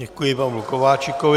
Děkuji Pavlu Kováčikovi.